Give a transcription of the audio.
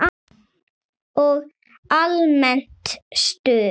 Og almennt stuð!